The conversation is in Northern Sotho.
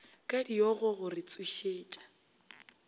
ka diogo go re tsošetša